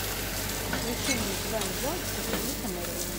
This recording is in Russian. включи мне гвен джонс ученица мерлина